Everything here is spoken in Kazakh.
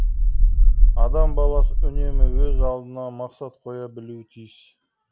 адам баласы үнемі өз алдына мақсат қоя білуі тиіс